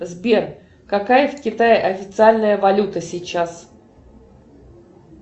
сбер какая в китае официальная валюта сейчас